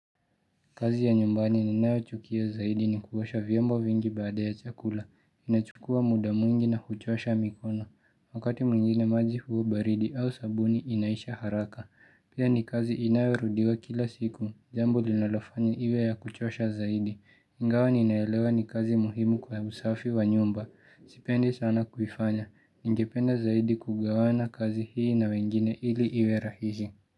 Kazi ya nyumbani ninayo chukia zaidi ni kuwasha vyombo vingi baada ya chakula. Inachukua muda mwingi na kuchosha mikono. Wakati mwingine maji huwa baridi au sabuni inaisha haraka. Pia ni kazi inayo rudiwa kila siku. Jambo linolofanya iwe ya kuchosha zaidi. iNgawa ninaelewa ni kazi muhimu kwa usafi wa nyumba. Sipendi sana kuifanya. Ningependa zaidi kugawana kazi hii na wengine ili iwe rahisi.